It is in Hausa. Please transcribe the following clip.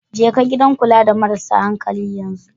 Jeka gidan kula da marasa hankali yanzu.